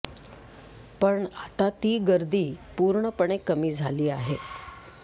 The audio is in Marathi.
पण आता ती गर्दी पूर्णपणे कमी झाली आहे